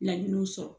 Laɲiniw sɔrɔ